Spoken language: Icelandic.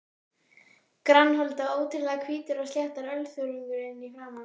Grannholda og ótrúlega hvítur og sléttur og alvöruþrunginn í framan.